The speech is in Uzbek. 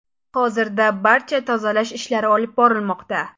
Hozirda barcha tozalash ishlari olib borilmoqda.